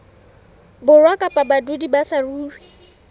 borwa kapa badudi ba saruri